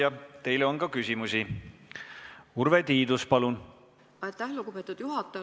Aitäh, lugupeetud juhataja!